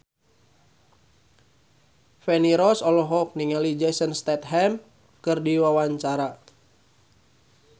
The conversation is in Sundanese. Feni Rose olohok ningali Jason Statham keur diwawancara